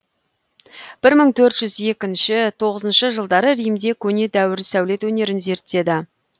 бір мың төрт жүз екінші тоғызыншы жылдары римде көне дәуір сәулет өнерін зерттеді